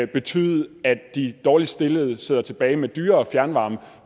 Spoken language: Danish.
betyde at de dårligst stillede sidder tilbage med dyrere fjernvarme